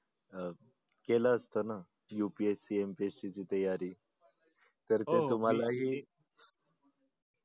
अह केल असत ना UPSCMPSC ची तयारी तर ती तुम्हालाही